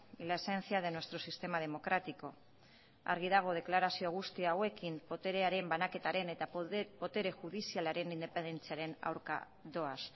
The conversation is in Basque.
y la esencia de nuestro sistema democrático argi dago deklarazio guzti hauekin boterearen banaketaren eta botere judizialaren independentziaren aurka doaz